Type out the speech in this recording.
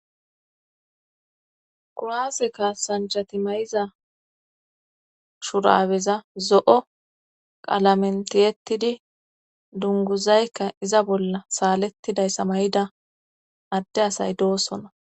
Kuwase kassanchati may7iza shurabeza zo7o qalamentiyettidi dunguzaykka iza bolla saalettidayssa may7ida adde asay doosona